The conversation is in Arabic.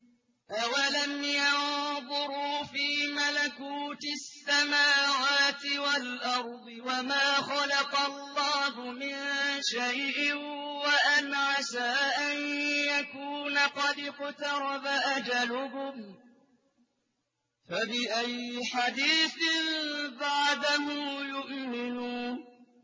أَوَلَمْ يَنظُرُوا فِي مَلَكُوتِ السَّمَاوَاتِ وَالْأَرْضِ وَمَا خَلَقَ اللَّهُ مِن شَيْءٍ وَأَنْ عَسَىٰ أَن يَكُونَ قَدِ اقْتَرَبَ أَجَلُهُمْ ۖ فَبِأَيِّ حَدِيثٍ بَعْدَهُ يُؤْمِنُونَ